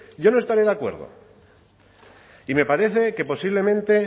yo no estaré de acuerdo y me parece que posiblemente